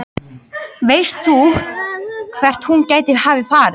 Veist þú hvert hún gæti hafa farið?